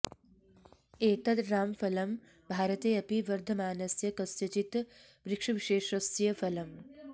एतत् रामफलं भारते अपि वर्धमानस्य कस्यचित् वृक्षविशेषस्य फलम्